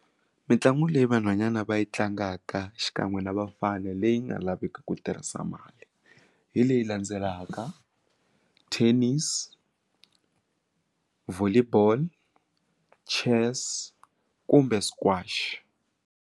Mitlangu leyi vanhwanyana va yi tlangaka xikan'we na bafana leyi nga laveki ku tirhisa mali hi leyi landzelaka tennis volley ball chess kumbe squash.